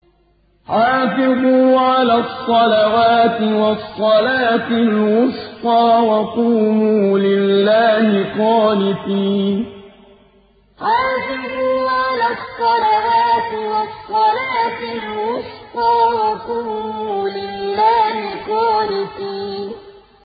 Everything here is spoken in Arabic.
حَافِظُوا عَلَى الصَّلَوَاتِ وَالصَّلَاةِ الْوُسْطَىٰ وَقُومُوا لِلَّهِ قَانِتِينَ حَافِظُوا عَلَى الصَّلَوَاتِ وَالصَّلَاةِ الْوُسْطَىٰ وَقُومُوا لِلَّهِ قَانِتِينَ